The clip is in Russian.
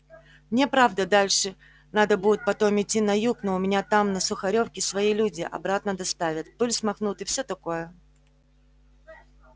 мне правда дальше надо будет потом идти на юг но у меня там на сухарёвке свои люди обратно доставят пыль смахнут и всё такое